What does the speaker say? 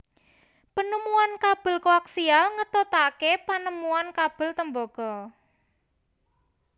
Penemuan kabel koaksial ngetutake penemuan kabel tembaga